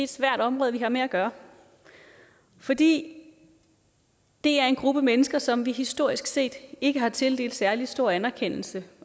svært område vi har med at gøre fordi det er en gruppe mennesker som vi historisk set ikke har tildelt særlig stor anerkendelse